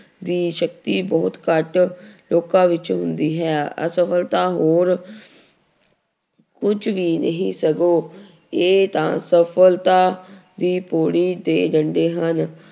ਦੀ ਸ਼ਕਤੀ ਬਹੁਤ ਘੱਟ ਲੋਕਾਂ ਵਿੱਚ ਹੁੰਦੀ ਹੈ ਅਸਫ਼ਲਤਾ ਹੋਰ ਕੁਛ ਵੀ ਨਹੀਂ ਸਗੋਂ ਇਹ ਤਾਂ ਸਫ਼ਲਤਾ ਦੀ ਪੌੜੀ ਦੇ ਡੰਡੇ ਹਨ।